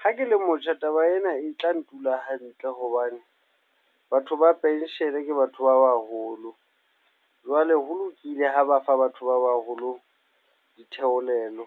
Ha ke le motjha, taba ena e tla ntula hantle hobane batho ba penshele ke batho ba baholo. Jwale ho lokile ha ba fa batho ba baholo ditheolelo,